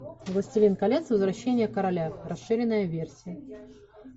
властелин колец возвращение короля расширенная версия